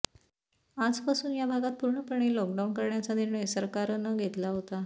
आजपासून या भागात पूर्णपणे लॉकडाउन करण्याचा निर्णय सरकारनं घेतला आहे